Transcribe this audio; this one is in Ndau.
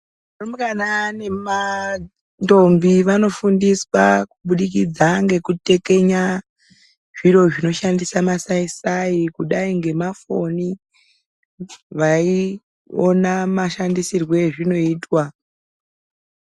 Varumbwana nemandombi vanofundiswa kubudikidza ngekutekenya zviro zvinoshandise masaisai kudayi ngemafoni veiona mashandisirwo azvinoitwa.